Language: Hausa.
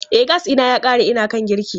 E, gas ɗina ya ƙare ina kan girki.